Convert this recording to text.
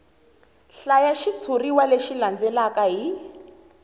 hlaya xitshuriwa lexi landzelaka hi